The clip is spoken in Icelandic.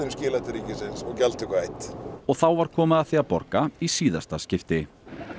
skilað til ríkisins og gjaldtöku hætt og þá var komið að því að borga í síðasta skipti